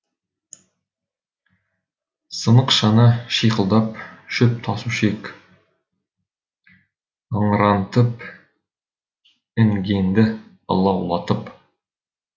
сынық шана шиқылдап шөп тасушы ек ыңырантып інгенді ылаулатып